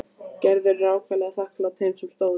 Gerður er ákaflega þakklát þeim sem að stóðu.